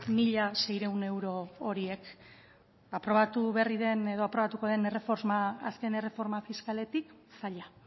mila seiehun euro horiek aprobatu berri den edo aprobatuko den azken erreforma fiskaletik zaila